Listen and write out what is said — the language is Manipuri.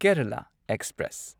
ꯀꯦꯔꯂꯥ ꯑꯦꯛꯁꯄ꯭ꯔꯦꯁ